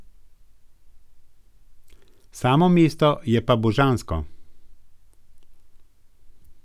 Samo mesto je pa božansko.